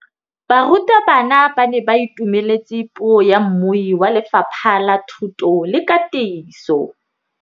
Barutabana ba ne ba itumeletse puô ya mmui wa Lefapha la Thuto le Katiso.